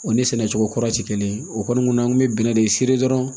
O ni sɛnɛ cogo kura ti kelen ye o kɔni an kun bɛ bɛnnɛ de dɔrɔn